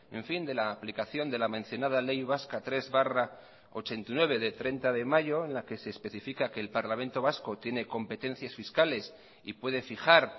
de la aplicación de la mencionada ley vasca tres barra ochenta y nueve de treinta de mayo en la que se especifica que el parlamento vasco tiene competencias fiscales y puede fijar